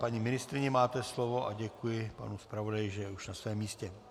Paní ministryně, máte slovo, a děkuji panu zpravodaji, že je už na svém místě.